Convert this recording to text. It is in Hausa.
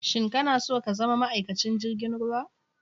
Shin ka na so ka zama ma'aikacin jirgin ruwa?